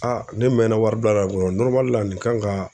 Aa ne mɛnna wari bilara la nin kan ka